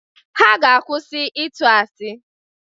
Ha ga-akwụsị ịtụ asị